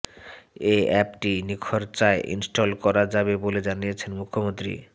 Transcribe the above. এই অ্যাপটি নিখরচায় ইনস্টল করা যাবে বলে জানিয়েছেন মুখ্যমন্ত্রী